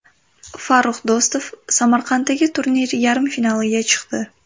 Farrux Do‘stov Samarqanddagi turnir yarim finaliga chiqdi.